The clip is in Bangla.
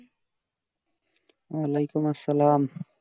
ওয়ালাইকুম সালাম